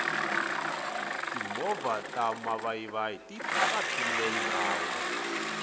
timovha ta mavayivayi ti tatile ndhawu